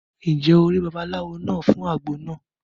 Ǹjẹ́ o rí babaláwo náà fún àgbo náà?